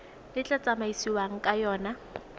le tla tsamaisiwang ka yona